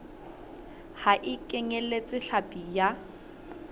ha e kenyeletse hlapi ya